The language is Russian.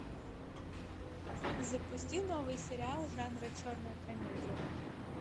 запусти новый сериал жанра черная комедия